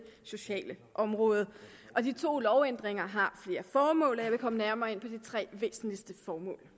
sociale område de to lovændringer har flere formål og jeg vil komme nærmere ind på de tre væsentligste formål